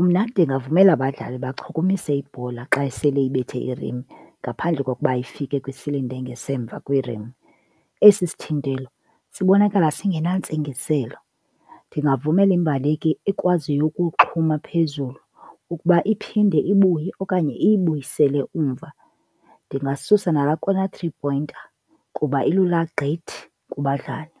Umna ndingavumela abadlali bachukumise ibhola xa isele ibethe irim, ngaphandle kokuba ifike kwi-cylinder engasemva kwirim. Esi sithintelo sibonakala singentsingiselo. Ndingavumela imbaleki ekwaziyo ukuxhuma phezulu ukuba iphinde ibuye okanye iyibuyisele umva. Ndingasusa nalaa corner three-pointer kuba ilula gqithi kubadlali.